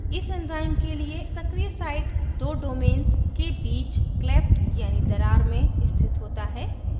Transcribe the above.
इस enzyme के लिए सक्रियsite दो domains के बीच cleft यानी दरार में स्थित होता है